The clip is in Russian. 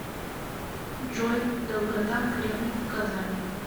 джой долгота кремль в казани